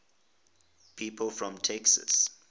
people from texas